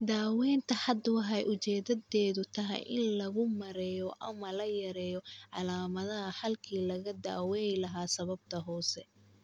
Daawaynta hadda waxay ujeeddadeedu tahay in lagu maareeyo ama la yareeyo calaamadaha halkii laga daaweyn lahaa sababta hoose.